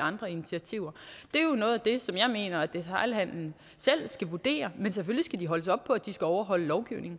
andre initiativer er noget af det som jeg mener at detailhandelen selv skal vurdere men selvfølgelig skal de holdes op på at de skal overholde lovgivningen